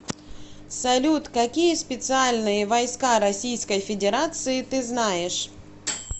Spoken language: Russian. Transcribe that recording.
салют какие специальные войска российской федерации ты знаешь